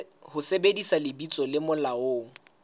ho sebedisa lebitso le molaong